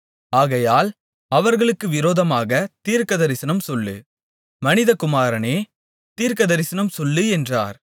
ஆகையால் அவர்களுக்கு விரோதமாகத் தீர்க்கதரிசனம்சொல்லு மனிதகுமாரனே தீர்க்கதரிசனம்சொல்லு என்றார்